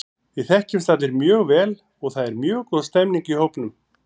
Við þekkjumst allir mjög vel og það er mjög góð stemning í hópnum.